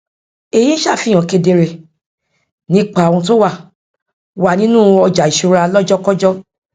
èyí ń ṣàfihàn kedere nípa ohun tó wà wà nínú ọjàìṣúra lọjọkọjọ